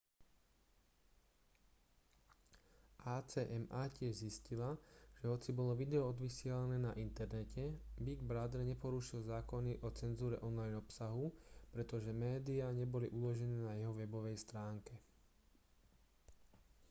acma tiež zistila že hoci bolo video odvysielané na internete big brother neporušil zákony o cenzúre online obsahu pretože médiá neboli uložené na jeho webovej stránke